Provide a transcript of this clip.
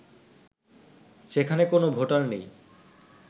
সেখানে কোন ভোটার নেই